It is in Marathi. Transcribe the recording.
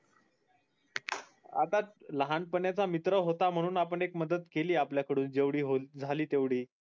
आता लहान पणाचा मित्र होता म्हणून आपण एक मदत केली आपल्या कडून जेवठी होईल झाली तेवठी